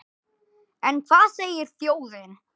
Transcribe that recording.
En hvað segir þjóðin?